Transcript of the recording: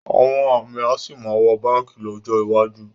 Àwọn amí a sì máa wọ báǹkì lọ́jọ́ iwájú